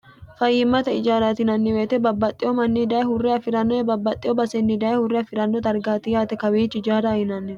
fayyimmate ijaarati yinanni woyte babbaxxewo manni daye hurre afi'rannoye babbaxxiyo basenni daye hurre afi'ranno dargaati yaate kawiichi ijaarho yinannihu